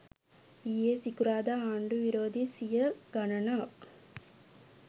ඊයේ සිකුරාදා ආණ්ඩු විරෝධී සිය ගණනක්